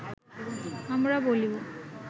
আমরা বলিব